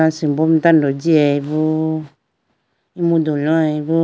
asimbo mai tando jiyaybo emudu loyay bo.